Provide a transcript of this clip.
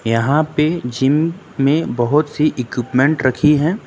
यहां पे जिम में बहुत सी इक्विपमेंट रखी है।